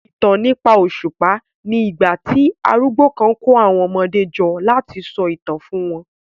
ìtàn nípa òṣùpá ní igbà tí arúgbó kán kò àwọn ọmọdé jọ lati so itan fún wọn